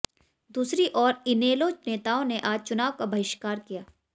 दूसरी ओर इनेलो नेताओं ने आज चुनाव का बहिष्कार किया